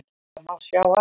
Það má sjá af